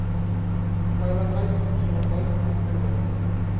veiligheid gesondheid opvoeding